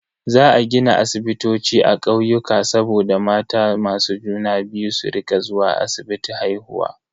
Za a gina asibitoci a kauyuka saboda mata masu juna biyu su rika zuwa asibiti haihuwa.